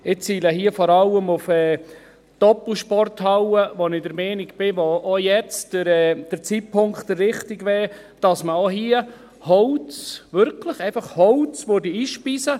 Ich ziele hier vor allem auf die Doppelsporthalle, bei der ich der Meinung bin, dass der Zeitpunkt jetzt der richtige wäre, dass man auch hier Holz, wirklich einfach Holz, einspeisen würde.